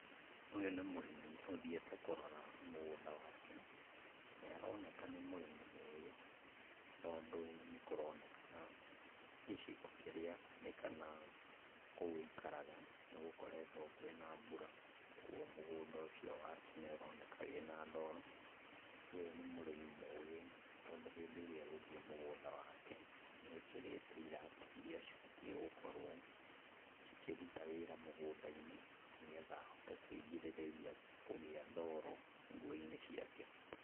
Ũyũ nĩ mũrĩmi ũthiĩte kũrora mũgũnda wake, nĩaroneka nĩ mũrĩmi mũgĩ, tondũ nĩkũroneka gĩcigo kĩrĩa arĩ kana kũu aikaraga, nĩgũkoretwo kwĩna mbura koguo mũgũnda ũcio wake nĩ ũroneka wĩna ndoro. Ũyũ nĩ mũrĩmi mũgĩ tondũ hĩndĩ ĩrĩa egũthiĩ mũgũnda wake, nĩekĩrĩte iratũ iria cibatiĩ gũkorwo cikĩruta wĩra mũgunda-inĩ, nĩgetha ahote kwĩgirĩrĩria kũgĩa ndoro nguo-inĩ ciake.